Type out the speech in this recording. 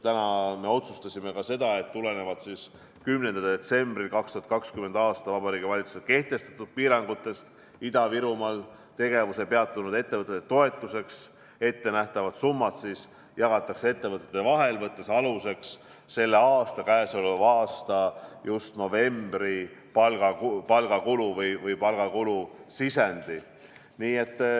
Täna me otsustasime ka seda, et tulenevalt 10. detsembril 2020. aastal Vabariigi Valitsuse kehtestatud piirangutest Ida-Virumaal tegevuse peatanud ettevõtete toetuseks ette nähtavad summad jagatakse ettevõtete vahel, võttes aluseks selle aasta, käesoleva aasta novembri palgakulu sisendit.